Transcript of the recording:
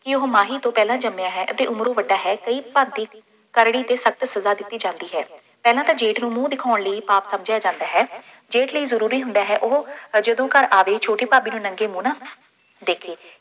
ਕਿ ਉਹ ਮਾਹੀ ਤੂੰ ਪਹਿਲਾਂ ਜੰਮਿਆ ਹੈ ਅਤੇ ਉਮਰੋਂ ਵੱਡਾ ਹੈ, ਕਈ ਭਾਬੀ ਕਰੜੀ ਅਤੇ ਸਖਤ ਸਜ਼ਾ ਦਿੱਤੀ ਜਾਂਦੀ ਹੈ, ਪਹਿਲਾਂ ਤਾਂ ਜੇਠ ਨੂੰ ਮੂੰਹ ਦਿਖਾਉਣ ਲਈ ਪਾਪ ਸਮਝਿਆ ਜਾਂਦਾ ਹੈ। ਜੇਠ ਲਈ ਜ਼ਰੂਰੀ ਹੁੰਦਾ ਹੈ ਉਹ ਜਦੋਂ ਘਰ ਆਵੇ, ਛੋਟੇ ਭਾਬੀ ਨੂੰ ਨੰਗੇ ਮੂੰਹ ਨਾ ਦੇਖੇ।